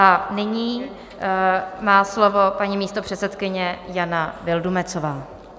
A nyní má slovo paní místopředsedkyně Jana Vildumetzová.